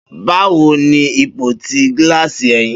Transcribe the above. Bawo ni ipo ti gilasi ẹhin?